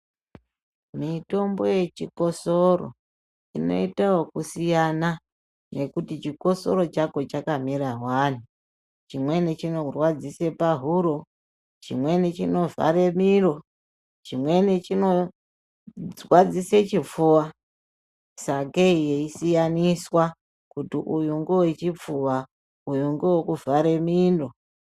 Mitombo yechikosoro inoita wokusiyana nekuti chikosoro chako chakamira wani. Chimweni chinorwadzise pahuro, chimweni chinovhare miro, chimweni chinorwadzise chipfuva. Sakei yeisiyaniswa kuti uyu ngowechipfuva, uyu ngewekuvhare mino.